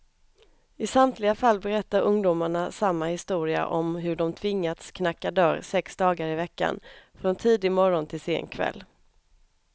I samtliga fall berättar ungdomarna samma historia om hur de tvingats knacka dörr sex dagar i veckan, från tidig morgon till sen kväll.